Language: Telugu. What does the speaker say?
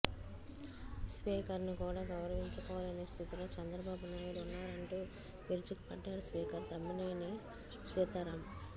స్పీకర్ ను కూడా గౌరవించుకోలేని స్థితిలో చంద్రబాబు నాయుడు ఉన్నారంటూ విరుచుకుపడ్డారు స్పీకర్ తమ్మినేని సీతారాం